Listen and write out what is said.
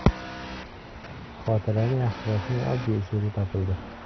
Xotirani yaxshilashning oddiy usuli topildi.